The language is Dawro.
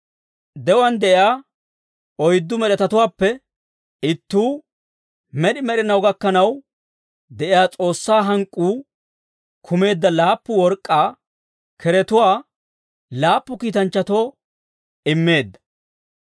De'uwaan de'iyaa oyddu med'etatuwaappe ittuu, med'i med'inaw gakkanaw de'iyaa S'oossaa hank'k'uu kumeedda laappu work'k'aa keretuwaa laappu kiitanchchatoo immeedda.